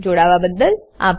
જોડાવાબદ્દલ આભાર